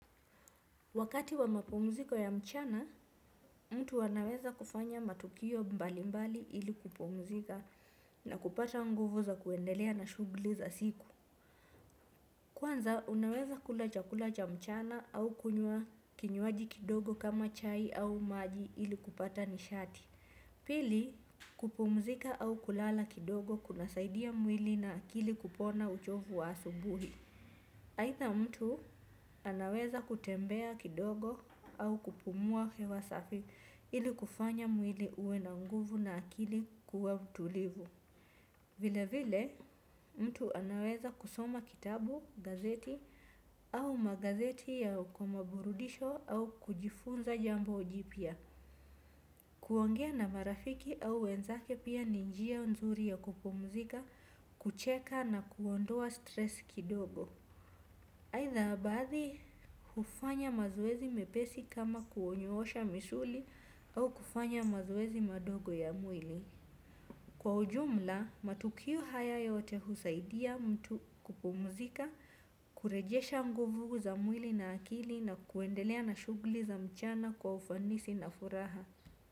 Wakati wa mapumziko ya mchana, mtu anaweza kufanya matukio mbali mbali ili kupumzika na kupata nguvu za kuendelea na shughuli za siku. Kwanza, unaweza kula chakula cha mchana au kunywa kinywaji kidogo kama chai au maji ili kupata nishati. Pili, kupumzika au kulala kidogo kuna saidia mwili na akili kupona uchovu wa asubuhi. Aidha mtu anaweza kutembea kidogo au kupumua hewa safi ili kufanya mwili uwe na nguvu na akili kuwa tulivu. Vile vile mtu anaweza kusoma kitabu, gazeti au magazeti ya kwa maburudisho au kujifunza jambo jipya. Kuongea na marafiki au wenzake pia ni njia nzuri ya kupumzika, kucheka na kuondoa stress kidogo. Aidha baadhi hufanya mazowezi mepesi kama kuonyoosha misuli au kufanya mazowezi madogo ya mwili. Kwa ujumla matukio haya yote husaidia mtu kupumzika kurejesha nguvu za mwili na akili na kuendelea na shughuli za mchana kwa ufanisi na furaha.